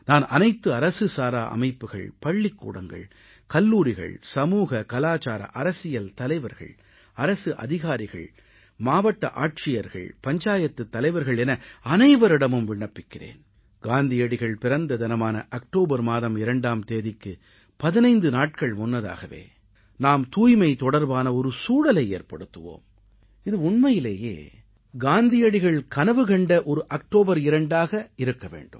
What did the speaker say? நான் அனைத்து அரசு சாரா அமைப்புகள் பள்ளிக்கூடங்கள் கல்லூரிகள் சமூககலாச்சாரஅரசியல் தலைவர்கள் அரசு அதிகாரிகள் மாவட்ட ஆட்சியர்கள் பஞ்சாயத்துத் தலைவர்கள் என அனைவரிடமும் விண்ணப்பிக்கிறேன் காந்தியடிகள் பிறந்த தினமான அக்டோபர் மாதம் 2ஆம் தேதிக்கு 15 நாட்கள் முன்னதாகவே நாம் தூய்மை தொடர்பான ஒரு சூழலை ஏற்படுத்துவோம் இது உண்மையிலேயே காந்தியடிகள் கனவு கண்ட ஒரு அக்டோபர் 2 ஆக இருக்க வேண்டும்